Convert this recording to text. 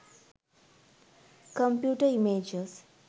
computer images